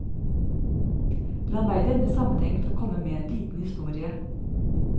La meg i denne sammenheng få komme med en liten historie.